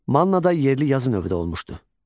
Mannada yerli yazı növü də olmuşdu.